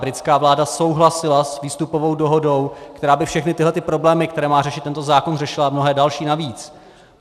Britská vláda souhlasila s výstupovou dohodou, která by všechny tyto problémy, které má řešit tento zákon, řešila a mnohé další navíc.